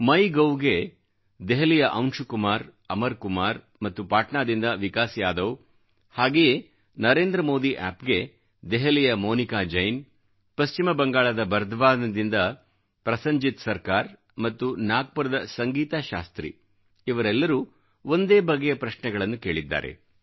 ಮೈ ಗೌ ಗೆ ದೆಹಲಿಯ ಅಂಶುಕುಮಾರ್ ಅಮರ್ ಕುಮಾರ್ ಮತ್ತು ಪಾಟ್ನಾದಿಂದ ವಿಕಾಸ್ ಯಾದವ್ ಹಾಗೆಯೇ ನರೇಂದ್ರ ಮೋದಿ ಆಪ್ ಗೆ ದೆಹಲಿಯ ಮೋನಿಕಾ ಜೈನ್ ಪಶ್ಚಿಮ ಬಂಗಾಳದ ಬರ್ಧವಾನ್ ದಿಂದ ಪ್ರಸನ್ಜಿತ್ ಸರ್ಕಾರ್ ಮತ್ತು ನಾಗ್ಪುರದ ಸಂಗೀತಾ ಶಾಸ್ತ್ರಿ ಇವರೆಲ್ಲರೂ ಒಂದೇ ಬಗೆಯ ಪ್ರಶ್ನೆಗಳನ್ನು ಕೇಳಿದ್ದಾರೆ